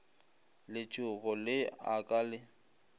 letshogo le a ka le